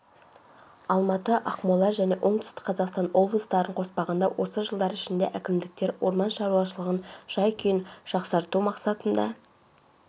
алматы ақмола және оңтүстік қазақстан облыстарын қоспағанда осы жылдар ішінде әкімдіктер орман шаруашылығының жай-күйін жақсарту